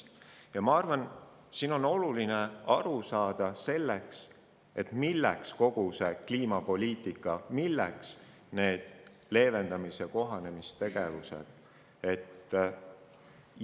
Ja ma arvan, et oluline on aru saada sellest, milleks on kogu seda kliimapoliitikat ning neid leevendamis- ja kohanemistegevusi.